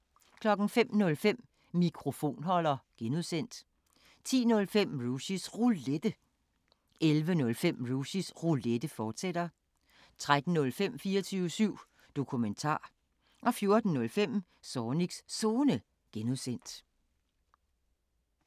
05:05: Mikrofonholder (G) 10:05: Rushys Roulette 11:05: Rushys Roulette, fortsat 13:05: 24syv Dokumentar 14:05: Zornigs Zone (G)